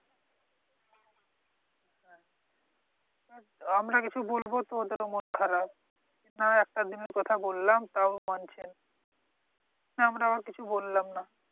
আমরা কিছু বলবো তোদের ও মন খারাপ। নাই একটা দিনের কথা বললাম তাউ মানছে না। আমরাও কিছু বললাম না।